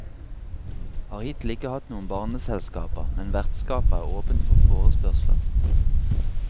Har hittil ikke hatt noen barneselskaper, men vertskapet er åpent for forespørsler.